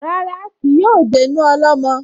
Rárá, kì yóò dénú ọlọ́mọ